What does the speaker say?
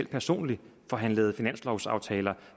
personligt forhandlede finanslovsaftaler